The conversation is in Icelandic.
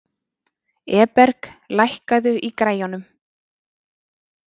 Eberg, lækkaðu í græjunum.